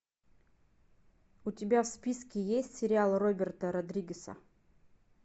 у тебя в списке есть сериал роберта родригеса